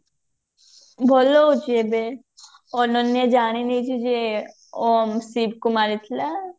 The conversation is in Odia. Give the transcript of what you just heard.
ଭଲ ଅଛି ଏବେ ଅନନ୍ୟା ଜାଣିନେଇଛି ଯେ ଓମ ସିଦ୍ଧ କୁ ମାରିଥିଲା